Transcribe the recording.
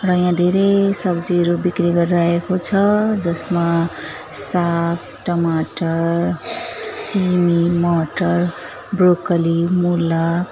र यहाँ धेरै सब्जीहरू बिक्री गरिरहेको छ जसमा साघ टमाटर सिमी मटर ब्रोकली मुला--